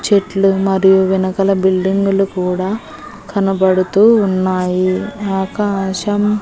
చెట్లు మరియు వెనకల బిల్డింగులు కూడా కనబడుతూ ఉన్నాయి ఆకాశం--